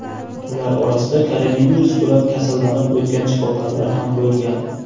Ular orasida koronavirus bilan kasallanib o‘tgan shifokorlar ham bo‘lgan.